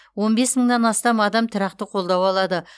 он бес мыңнан астам адам тұрақты қолдау алады